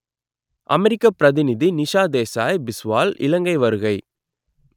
அமெரிக்கப் பிரதிநிதி நிஷா தேசாய் பிஸ்வால் இலங்கை வருகை